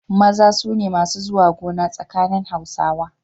Maza su ne masu zuwa gona tsakanin Hausawa.